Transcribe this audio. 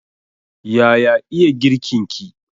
Yaya iya girkin ki?